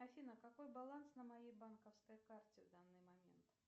афина какой баланс на моей банковской карте в данный момент